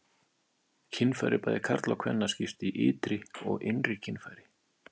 Kynfæri bæði karla og kvenna skiptast í ytri og innri kynfæri.